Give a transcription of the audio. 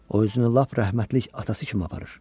O özünü lap rəhmətlik atası kimi aparır.